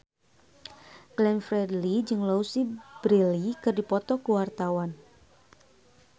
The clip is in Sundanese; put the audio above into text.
Glenn Fredly jeung Louise Brealey keur dipoto ku wartawan